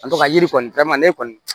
Ka to ka yiri kɔni kɔni